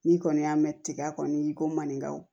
N'i kɔni y'a mɛn tiga kɔni i ko maninkaw